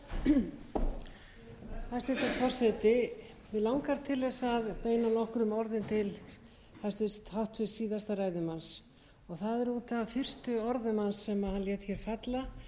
það er út af fyrstu orðum hans sem hann lét hér falla varðandi skýrsluna